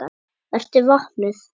Vertu vopnuð.